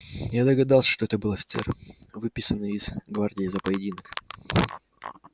я догадался что это был офицер выписанный из гвардии за поединок